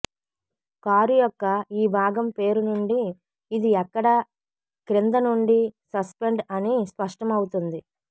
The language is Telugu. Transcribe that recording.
కారు యొక్క ఈ భాగం పేరు నుండి ఇది ఎక్కడా క్రింద నుండి సస్పెండ్ అని స్పష్టం అవుతుంది